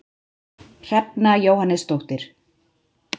Hrefna Jóhannesdóttir